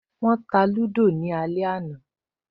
Wọ́n lúdò náà ní alẹ́ àná